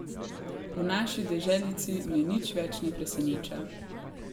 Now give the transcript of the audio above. V naši deželici me nič več ne preseneča.